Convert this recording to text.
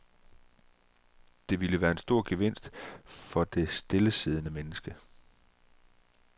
Det ville være en stor gevinst for det stillesiddende menneske.